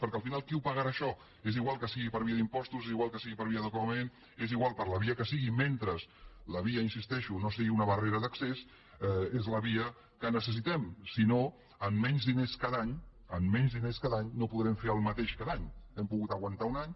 perquè al final qui ho pagarà això és igual que sigui per via d’impostos és igual que sigui per via de copagament és igual per la via que sigui mentre la via hi insisteixo no sigui una barrera d’accés és la via que necessitem si no amb menys diners cada any amb menys diners cada any no podrem fer el mateix cada any hem pogut aguantar un any